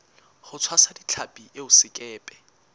ho tshwasa ditlhapi eo sekepe